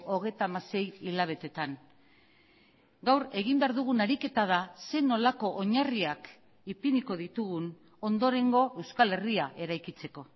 hogeita hamasei hilabeteetan gaur egin behar dugun ariketa da zer nolako oinarriak ipiniko ditugun ondorengo euskal herria eraikitzeko